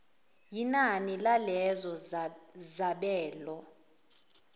yinani lalezo zabelo